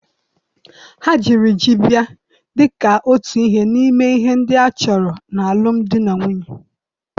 Ha jiri ji bịa dị ka otu ihe n'ime ihe ndị a chọrọ n'alụm di na nwunye